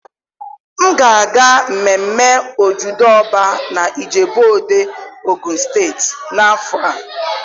M ga-aga mmemme Ojude Oba na Ijebu-Ode, Ogun State n'afọ a.